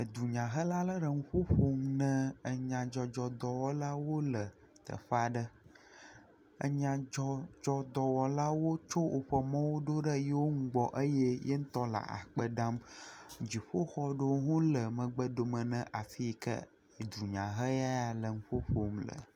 Edunyahela aɖe le nuƒo ƒom na enyadzɔdzɔdɔwɔlawo le teƒe aɖe, nyadzɔdzɔdɔwɔlawo tsɔ woƒe mɔwo do ɖe eƒe nu gbɔ eye ye ŋutɔ le akpe dam. Dziƒoxɔ aɖewo le megbe dome dome ne afi yi ke dunyahela ya le nu ƒo ƒom le.